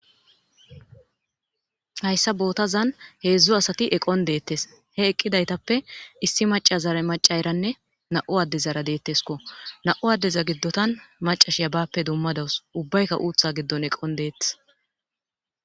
Hayssa bootazan heedzdzo asati eqon deettes he eqqidaytappe issi maca zara maca eranne na'u adde zara deettesko na7u addeza giddotan macashiya bappe dummadawus ubbaykka uutha giddon eqon deettes.